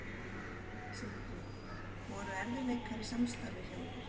Sindri: Voru erfiðleikar í samstarfi hjá ykkur?